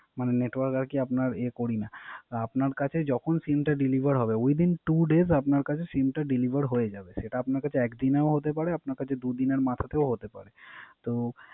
মানে Network আর কি আমরা ইয়ে করি না। আপনার কাছে যখন SIM টা Deliver হবে Within two days আপনার কাছে সিমটা Deliver হয়ে যাবে সেটা আপনা কাছে একদিন ও হতে পারে দু দিনের মাথাতেও হতে পারে